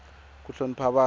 ku hlonipa vanhu